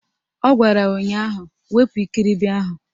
Ọ gwara ya ụnyaahụ "Wepu ikiribi ahụ"!